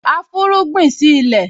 A fúnrúgbìn sí ilẹ̀